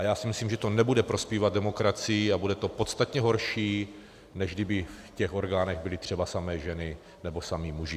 A já si myslím, že to nebude prospívat demokracii a bude to podstatně horší, než kdyby v těch orgánech byly třeba samé ženy nebo samí muži.